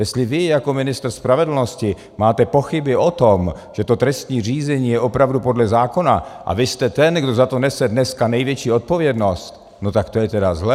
Jestli vy jako ministr spravedlnosti máte pochyby o tom, že to trestní řízení je opravdu podle zákona, a vy jste ten, kdo za to nese dneska největší odpovědnost, no tak to je teda zlé.